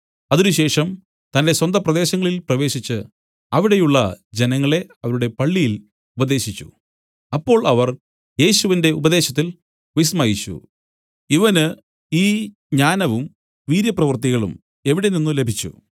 അതിനുശേഷം തന്റെ സ്വന്ത പ്രദേശങ്ങളിൽ പ്രവേശിച്ചു അവിടെയുള്ള ജനങ്ങളെ അവരുടെ പള്ളിയിൽ ഉപദേശിച്ചു അപ്പോൾ അവർ യേശുവിന്റെ ഉപദേശത്തിൽ വിസ്മയിച്ചു ഇവന് ഈ ജ്ഞാനവും വീര്യപ്രവൃത്തികളും എവിടെ നിന്നുലഭിച്ചു